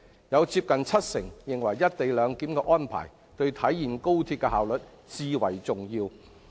當中接近七成認為"一地兩檢"的安排，對體現高鐵的效率最為重要。